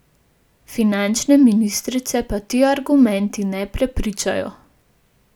Finančne ministrice pa ti argumenti ne prepričajo.